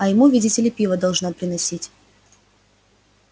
я ему видите ли пиво должна приносить